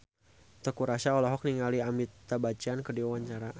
Teuku Rassya olohok ningali Amitabh Bachchan keur diwawancara